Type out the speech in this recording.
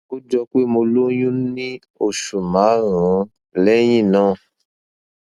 ó jọ pé mo lóyún ní oṣù márùnún lẹyìn náà